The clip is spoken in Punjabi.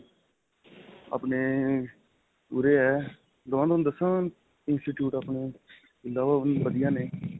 ਅਪਨੇ, ਉਰੇ ਹੈ institute ਆਪਣੇ ਵਧੀਆਂ ਨੇ.